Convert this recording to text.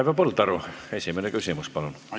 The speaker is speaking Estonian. Raivo Põldaru, esimene küsimus, palun!